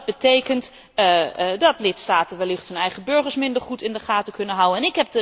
Maar dat betekent dat lidstaten wellicht hun eigen burgers minder goed in de gaten kunnen houden.